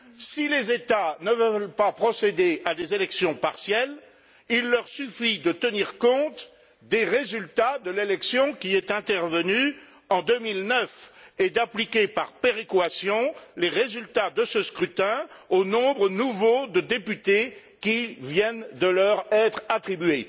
Si les États ne veulent pas procéder à des élections partielles, il leur suffit de tenir compte des résultats de l'élection qui est intervenue en 2009 et d'appliquer, par péréquation, les résultats de ce scrutin au nombre nouveau de députés qui viennent de leur être attribués.